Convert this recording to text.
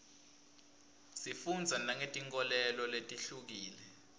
sifundza nangetinkholelo letihlukile